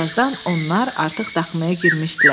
Bir azdan onlar artıq daxmaya girmişdilər.